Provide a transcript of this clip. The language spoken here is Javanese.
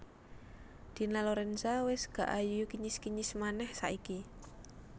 Dina Lorenza wes gak ayu kinyis kinyis maneh saiki